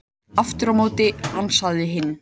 Aftur á móti ansaði hinn: